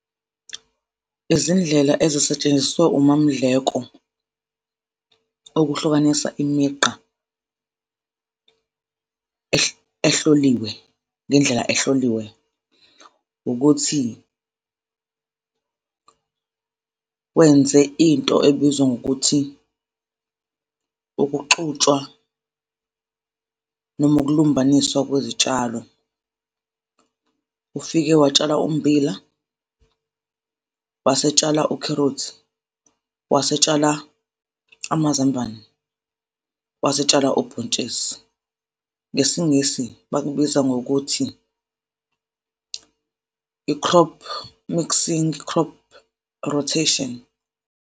Izindlela ezizosetshenziswa uMaMdleko ukuhlukanisa imigqa ehloliwe ngendlela ehloliwe, ukuthi wenze into ebizwa ngokuthi ukuxutshwa noma ukulumbaniswa kwezitshalo. Ufike watshala ummbila, wasetshela ukherothi, wasetshela amazambane, wasetshala ubhontshisi, ngesingisi bakubiza ngokuthi i-crop mixing, crop rotation.